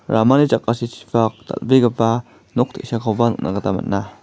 ramani jakasichipak dal·begipa nok te·sakoba nikna gita man·a.